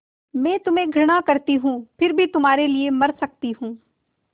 मैं तुम्हें घृणा करती हूँ फिर भी तुम्हारे लिए मर सकती हूँ